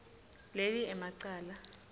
leli ema cala